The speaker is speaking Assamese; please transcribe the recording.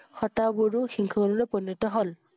সতা বোৰো শিখ লৈ পৰিণত হল।